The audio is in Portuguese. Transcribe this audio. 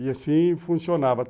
E assim funcionava.